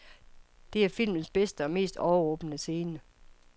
Det er filmens bedste og mest overrumplende scene.